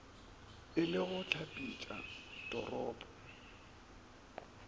e le go hlapetša toropo